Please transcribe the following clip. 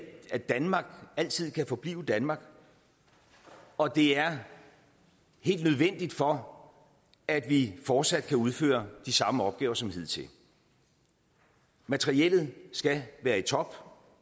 at danmark altid kan forblive danmark og det er helt nødvendigt for at vi fortsat kan udføre de samme opgaver som hidtil materiellet skal være i top